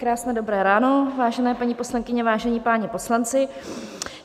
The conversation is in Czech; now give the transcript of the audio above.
Krásné dobré ráno, vážené paní poslankyně, vážení páni poslanci.